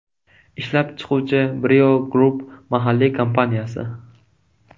Ishlab chiquvchi Brio Group mahalliy kompaniyasi.